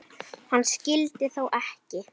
Hann skyldi þó ekki.